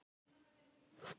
Semja um að efla tónlistarnám